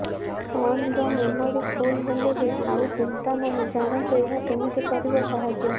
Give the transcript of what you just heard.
ଫୋନର memory full ହେଲେ ବି ଆଉ ଚିନ୍ତା ନାହିଁ ଜାଣନ୍ତୁ ଏହା କେମିତି କରିବ ସାହାଯ୍ୟ